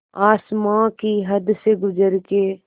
आसमां की हद से गुज़र के